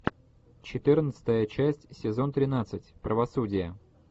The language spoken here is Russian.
четырнадцатая часть сезон тринадцать правосудие